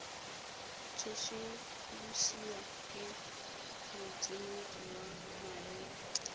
tsosolosiwa ke motseneledi wa maemo